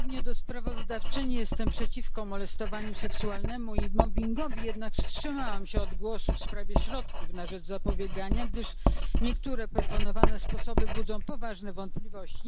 Podobnie jak sprawozdawczyni jestem przeciwko molestowaniu seksualnemu i mobbingowi, jednak wstrzymałam się od głosu w sprawie środków na rzecz zapobiegania, gdyż niektóre proponowane sposoby budzą poważne wątpliwości.